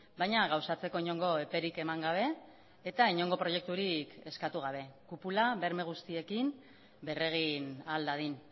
baina gauzatzeko inongo eperik eman gabe eta inongo proiekturik eskatu gabe kupula berme guztiekin berregin ahal dadin